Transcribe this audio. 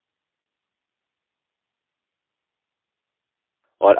और अपना library database खोलते हैं